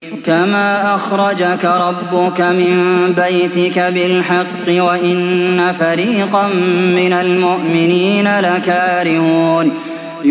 كَمَا أَخْرَجَكَ رَبُّكَ مِن بَيْتِكَ بِالْحَقِّ وَإِنَّ فَرِيقًا مِّنَ الْمُؤْمِنِينَ لَكَارِهُونَ